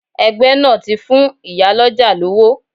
Ẹgbẹ́ náà ti fún ìyá lọ́jà lówó.